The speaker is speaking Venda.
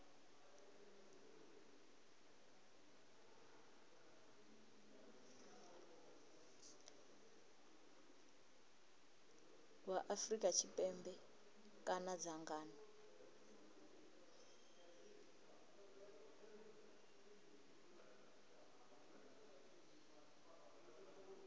wa afrika tshipembe kana dzangano